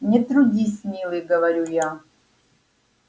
не трудись милый говорю я